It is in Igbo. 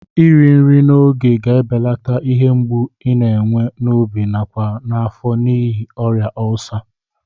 Iri nri n'oge ga-ebeleta ihe mgbụ i na-enwe n'obi nakwa n'afọ n'ihi ọrịa ọlsa.